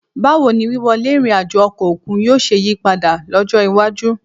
Báwo ni wíwọlé ìrìn àjò ọkọ̀ òkun yóò ṣe yí padà lọ́jọ́ iwájú